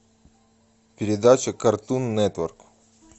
передача картун нетворк